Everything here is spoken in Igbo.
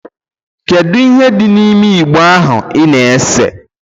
Kedụ ihe dị n'ime igbo ahụ ị na-ese?